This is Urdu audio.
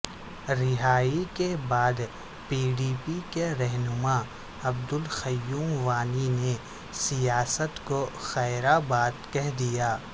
رہائی کے بعد پی ڈی پی کے رہنما عبدالقیوم وانی نے سیاست کو خیربادکہہ دیا